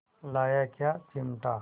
लाया क्या चिमटा